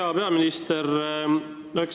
Hea peaminister!